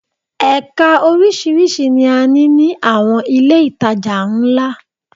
Ẹka oríṣiríṣi ni a ní ní àwọn ilé ìtajà ńlá